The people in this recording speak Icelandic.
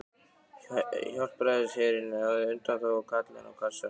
Hjálpræðisherinn hafði undanþágu og Kallinn á kassanum.